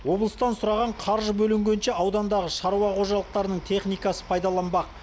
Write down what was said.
облыстан сұраған қаржы бөлінгенше аудандағы шаруа қожалықтарының техникасы пайдаланбақ